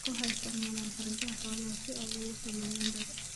Dadku waxay isticmaalaan hargaha xoolaha si ay u sameeyaan dhar.